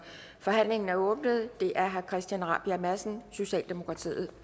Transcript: forhandlingen er åbnet det er herre christian rabjerg madsen socialdemokratiet